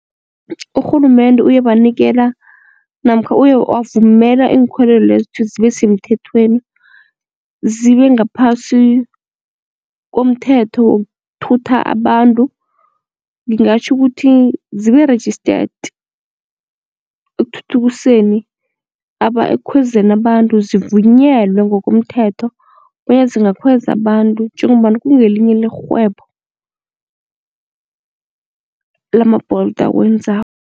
Urhulumende uyebanikela namkha uye wavumela iinkhwelo lezi ukuthi zibe semthethweni, zibe ngaphasi komthetho wokuthutha abantu ngingatjho ukuthi zibe registered, ekuthuthukiseni aba ekukhwezeni abantu zivunyelwe ngokomthetho bonyana zingakhweza abantu njengombana kungelinye lerhwebo lama-Bolt awenzako.